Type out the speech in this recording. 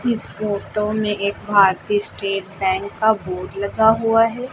इस फोटो में एक भारतीय स्टेट बैंक का बोर्ड लगा हुआ हैं।